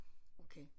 Okay